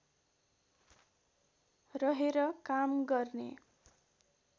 रहेर काम गर्ने